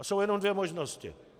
A jsou jenom dvě možnosti.